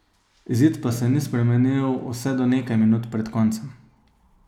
Izid pa se ni spremenil vse do nekaj minut pred koncem.